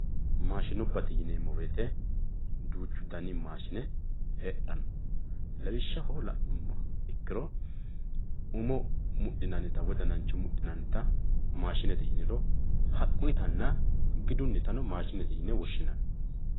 maashinubbate yineemo woyiite duuchu dani maashine heexxanno lawishshaho la'neemo ikkiro umo muxxinannita woyi danancho muxinannita maashinete yiniro haqquyiitana gidunnita maashinete yine woshshinanni.